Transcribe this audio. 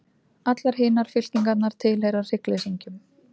Allar hinar fylkingarnar tilheyra hryggleysingjum.